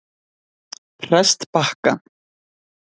Prestbakka